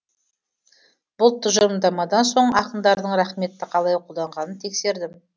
бұл тұжырымдамадан соң ақындардың рақметті қалай қолданғанын тексердім